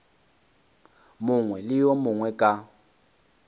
mongwe le yo mongwe ka